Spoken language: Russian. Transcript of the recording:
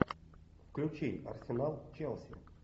включи арсенал челси